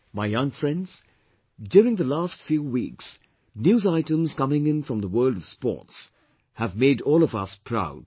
My young friends, during the last few weeks, news items coming in from the world of sports have made all of us proud